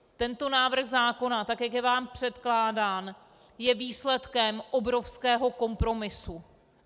Tento návrh zákona, tak jak je vám předkládán, je výsledkem obrovského kompromisu.